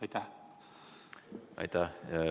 Aitäh!